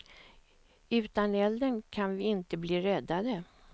Utan elden kan vi inte bli räddade.